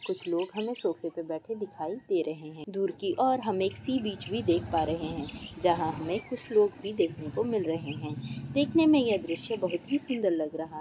कुछ लोग है ना सोफ़े पे बैठे दिखाई दे रहे हैं दूर कि और हम एक सी बीच भी देख पा रहे हैं जहाँ हमे कुछ लोग भी देखने को मिल रहे हैं देखने मे यह दृश्य बहुत ही सुंदर लग रहा --